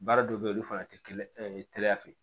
Baara dɔw bɛ ye olu fana tɛ kɛnɛya fɛ